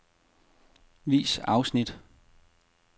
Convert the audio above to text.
Vis afsnit.